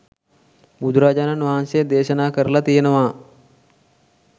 බුදුරජාණන් වහන්සේ දේශනා කරලා තියෙනවා.